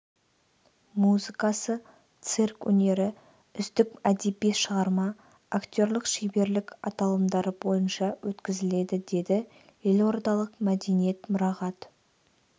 музыкасы цирк өнері үздік әдеби шығарма актерлік шеберлік аталымдары бойынша өткізіледі деді елордалық мәдениет мұрағат